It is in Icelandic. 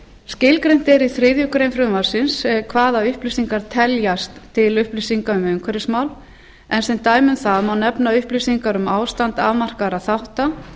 skilgreint er í þriðju greinar frumvarpsins hvaða upplýsingar teljast til upplýsinga um umhverfismál en sem dæmi um það má nefna upplýsingar um ástand afmarkaðra þátta